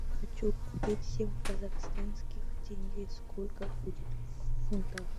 хочу купить семь казахстанских тенге сколько будет в фунтах